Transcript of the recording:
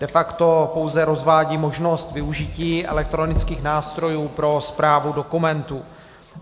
De facto pouze rozvádí možnost využití elektronických nástrojů pro správu dokumentů.